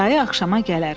Dayı axşama gələr.